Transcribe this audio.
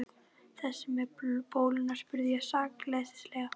Þessi með bóluna? spurði ég sakleysislega.